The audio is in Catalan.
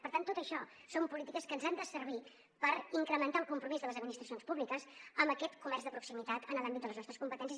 per tant tot això són polítiques que ens han de servir per incrementar el compromís de les administracions públiques amb aquest comerç de proximitat en l’àmbit de les nostres competències